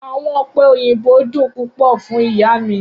Awọn ope oyinbo dun pupọ fun iya mi